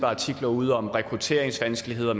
artikler ude om rekrutteringsvanskeligheder